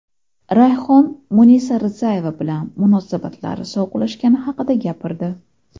Rayhon Munisa Rizayeva bilan munosabatlari sovuqlashgani haqida gapirdi.